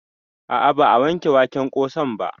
A'a ba a wanke waken ƙosan ba